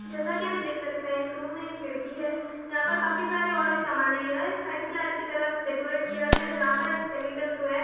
जैसा कि हम देख सकते हैं इस रूम में एक खिड़की है यहां पर काफी सारे और भी समान है यह एक साइंस लैब की तरह डेकोरेट किया गया जहां पर एक स्केलेटन सोया है।